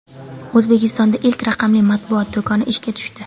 O‘zbekistonda ilk raqamli matbuot do‘koni ishga tushdi.